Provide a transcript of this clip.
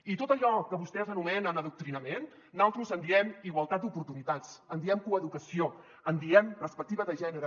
i de tot allò que vostès anomenen adoctrinament nosaltres en diem igualtat d’oportunitats en diem coeducació en diem perspectiva de gènere